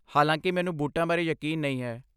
ਹਾਲਾਂਕਿ ਮੈਨੂੰ ਬੂਟਾਂ ਬਾਰੇ ਯਕੀਨ ਨਹੀਂ ਹੈ।